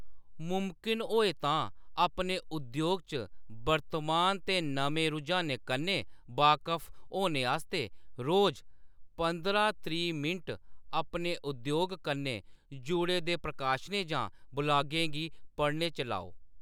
मुमकन होऐ तां अपने उद्योग च वर्तमान ते नमें रुझानें कन्नै बाकफ होने आस्तै रोज पंदरां त्रीह् मिंट अपने उद्योग कन्नै जुड़े दे प्रकाशनें जां ब्लागें गी पढ़ने च लाओ।